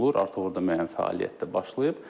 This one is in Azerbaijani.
Artıq orda müəyyən fəaliyyət də başlayıb.